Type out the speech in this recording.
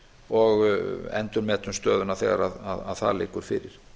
og endurmetum stöðuna þegar sú spá liggur fyrir